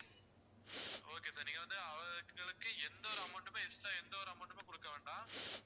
okay sir நீங்க வந்து அவங்களுக்கு எந்த ஒரு amount மே extra எந்த ஒரு amount மே கொடுக்கவேண்டாம்.